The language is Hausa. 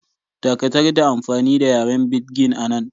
Dakatar da amfani da yaren Pidgin anan!